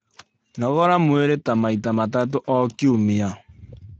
Nogora mwirĩ ta maita matatũ o kiumia